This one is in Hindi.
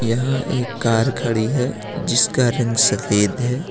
यहां एक कार खड़ी है जिसका रंग सफेद है।